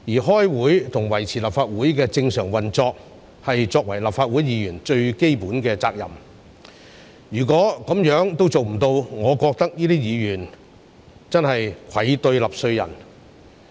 開會及維持立法會的正常運作，是立法會議員最基本的責任，如果這樣也做不到，我覺得這些議員真是愧對納稅人。